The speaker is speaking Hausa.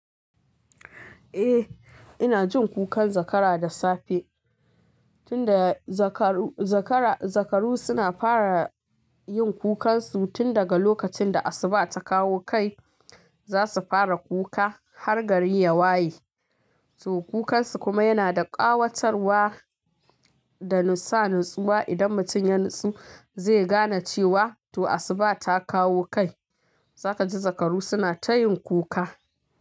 Eh, ina jin kukan zakara da safe. Tinda zakaru, zakara, zakaru suna fara yin kukansu tin daga lokacin da asuba ta kawo kai. Zasu fara kuka har gari ya waye. To kukansu kuma yana da ƙawatarwa da sa natsuwa idan mutum ya natsu zai gane cewa to asuba ta kawo kai. Saka ji zakaru suna ta yin kuka.